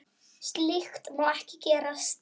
Slíkt má ekki gerast.